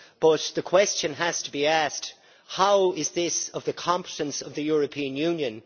But the question has to be asked how is this of the competence of the European Union?